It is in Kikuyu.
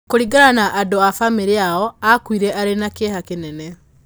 Kũringana na andũ a famĩlĩ yao, aakuire arĩ na kĩeha kĩnene.